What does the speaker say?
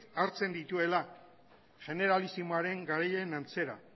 hartzen dituela generalisimoaren garaien antzera